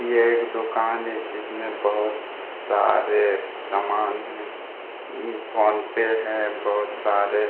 ये एक दोकान है जिसमें बहुत सारे सामान है फोनपे है बहुत सारे।